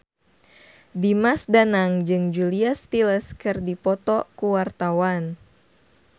Dimas Danang jeung Julia Stiles keur dipoto ku wartawan